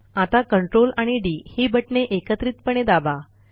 आता ctrl आणि D ही बटणे एकत्रितपणे दाबा